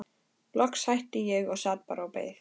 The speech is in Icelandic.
Loks hætti ég og sat bara og beið.